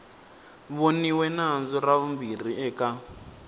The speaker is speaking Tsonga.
voniwe nandzu ra vumbirhi eka